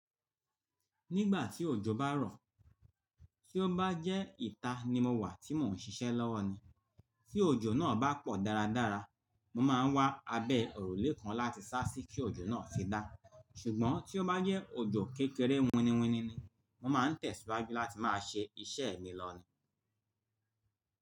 Nígbà tí òjò bá rọ̀, tí ó bá jẹ́ ìta ni mo wà tí mò ń ṣiṣẹ́ lọ́wọ́ ni, tí òjò náà bá pọ̀ dáradára, mo máa ń wá abẹ́ òrùlé kan láti sá sí kí òjò náà fi dá. Ṣùgbọ́n tí ó bá jẹ́ òjò kékeré winiwini ni, mo máa ń tẹ̀síwájú láti máa ṣe iṣẹ́ mi lọ ni.